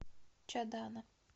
чадана